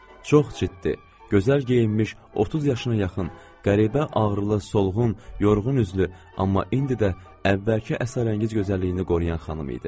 Çox ciddi, gözəl geyinmiş, 30 yaşına yaxın, qəribə ağrılı, solğun, yorğun üzlü, amma indi də əvvəlki əsrarəngiz gözəlliyini qoruyan xanım idi.